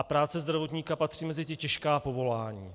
A práce zdravotníka patří mezi ta těžká povolání.